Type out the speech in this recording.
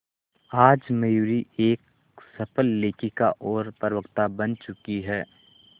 आज मयूरी एक सफल लेखिका और प्रवक्ता बन चुकी है